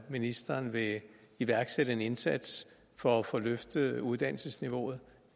ministeren ikke iværksætte en indsats for at få løftet uddannelsesniveauet